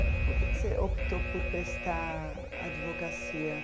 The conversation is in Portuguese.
E por que que você optou por prestar advocacia?